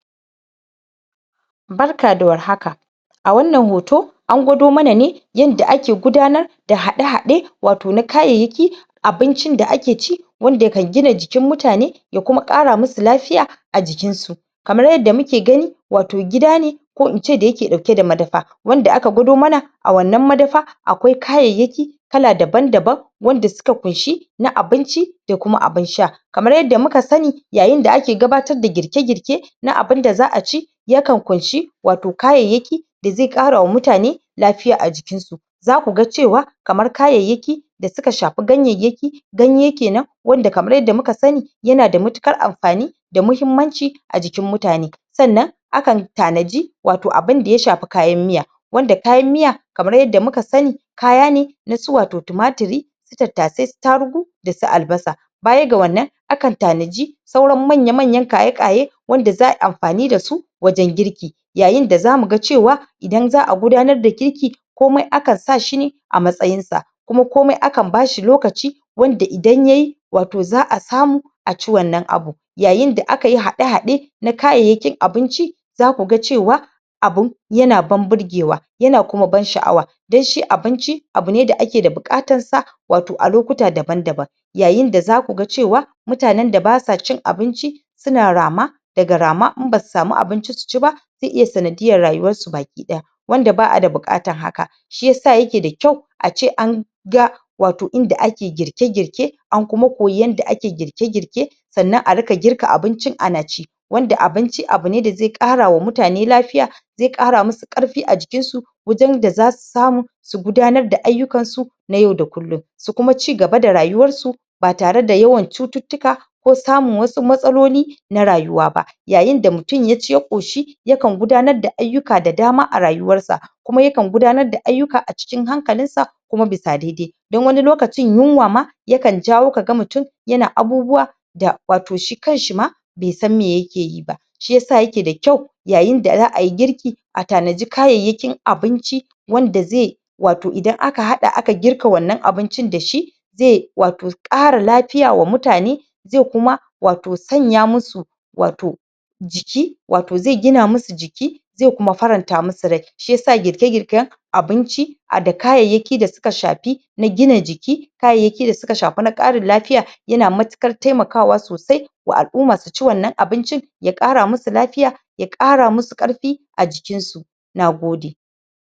Barka da warhaka A wannan hoto an gwado mana ne yanda ake gudanar da haɗe-haɗe wato na kayayyaki abincin da ake ci wanda kan gina jikin mutane ya kuma ƙara musu lafiya a jikinsu kamar yadda muke gani wato gida ne ko ince dayake ɗauke da madafa wanda aka gwado mana a wannan madafa akwai kayayyaki kala daban-daban wanda suka kunshi na abinci da kuma abin sha kamar yadda muka sani yayinda ake gabatar da girke-girke na abinda za aci yakan kunshi wato kayayyaki da ze ƙarawa mutane lafiya a jikinsu zakuga cewa kamar kayayyaki da suka shafi ganyayyaki ganye kenan wanda kamar yadda muka sani yanada mutukar amfani da muhimmanci a jikin mutane sannan akan tanaji wato abinda ya shafi kayan miya wanda kayan miya kamar yadda muka sani kaya ne nasu wato tumatiri su tattasai, su tarugu dasu albasa bayaga wannan akan tanaji sauran manya-manyan kaye-kaye wanda za ai amfani dasu wajen girki yayinda zamuga cewa idan za a gudanar da girki komai akan sa shine a matsayinsa kuma komai akan bashi lokaci wanda idan yayi wato za a samu aci wannan abu yayinda akayi haɗe-haɗe na kayayyakin abinci zakuga cewa abun yana ban burgewa yana kuma ban sha'awa dan shi abinci abune da ake da buƙatansa wato a lokuta daban-daban yayinda zakuga cewa mutanen da basa cin abinci suna rama daga rama, in basu samu abinci suci ba ze iya sanadiyyar rayuwarsu baki ɗaya wanda ba a da buƙatan haka shiyasa yake da kyau ace an ga wato inda ake girke-girke an kuma koyi yanda ake girke-girke sannan a rika girka abincin ana ci wanda abinci abune da ze ƙarawa mutane lafiya ze ƙara musu ƙarfi a jikinsu wajen da zasu samu su gudanar da ayyukansu na yau da kullum su kuma cigaba da rayuwarsu batare da yawan cututtuka ko samun wasu matsaloli na rayuwa ba yayinda mutun yaci ya ƙoshi yakan gudanar da ayyuka da dama a rayuwarsa kuma yakan gudanar da ayyuka a cikin hankalinsa kuma bisa dede don wani lokacin yunwa ma yakan jawo kaga mutun yana abubuwa da wato shi kanshi ma be san me yakeyi ba shiyasa yake da kyau yayinda za ayi girki,a tanaji kayayyakin abinci wanda ze wato idan aka haɗa aka girka wannan abincin dashi ze wato ƙara lafiya wa mutane ze kuma wato sanya musu wato jiki. Wato ze gina musu jiki ze kuma faranta musu rai.shiyasa girke-girken abinci a da kayayyaki da suka shafi na gina jiki kayayyaki da suka shafi na ƙarin lafiya yana matukar temakawa sosai wa al'uma suci wannan abincin ya ƙara musu lafiya ya ƙara musu ƙarfi a jikinsu nagode.